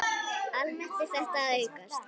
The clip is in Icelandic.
Almennt er þetta að aukast.